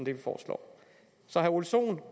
så til herre ole sohn